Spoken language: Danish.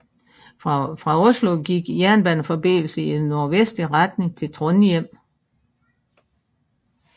Fra Oslo gik jernbaneforbindelser i nordvestlig retning til Trondhjem